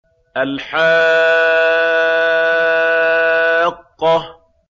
الْحَاقَّةُ